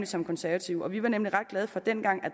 som konservative vi var nemlig ret glade for dengang